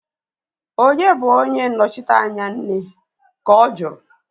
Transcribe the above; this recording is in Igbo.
Onye bụ onye nnọchiteanya nne? Ka ọ juru